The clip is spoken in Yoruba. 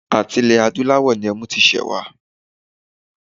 À̀ti ilẹ̀ adúláwọ̀ ní ẹmu ti ṣẹ̀ wá.